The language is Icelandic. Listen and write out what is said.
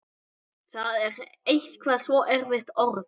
Það er eitthvað svo erfitt orð.